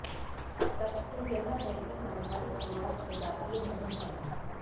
तथ्य यह है कि सांसारिक समाज सजातीय नहीं है